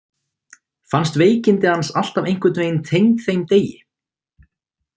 Fannst veikindi hans alltaf einhvern veginn tengd þeim degi.